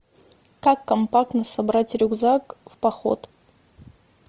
как компактно собрать рюкзак в поход